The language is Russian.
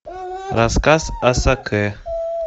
рассказ о сакэ